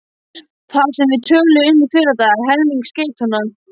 Það sem við töluðum um í fyrradag: helming skeytanna